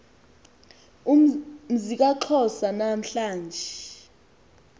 mzi kaxhosa namhla